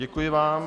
Děkuji vám.